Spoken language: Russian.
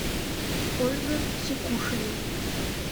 ольга сикушина